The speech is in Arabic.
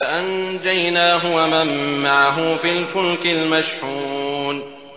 فَأَنجَيْنَاهُ وَمَن مَّعَهُ فِي الْفُلْكِ الْمَشْحُونِ